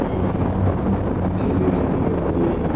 और यहां पे पंखे भी लगे हुए हैं।